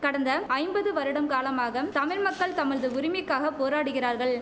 கடந்த ஐம்பது வருடம் காலமாக தமிழ் மக்கள் தமல்து உரிமைக்காக போராடுகிறார்கள்